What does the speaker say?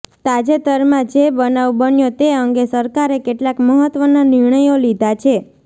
તાજેતરમાં જે બનાવ બન્યો તે અંગે સરકારે કેટલાક મહત્વના નિર્ણયો લીધા છે